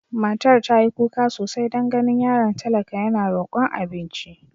Matar ta yi kuka sosai don ganin yaron talaka yana rokon abinci.